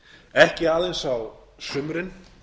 ekki aðeins á sumrin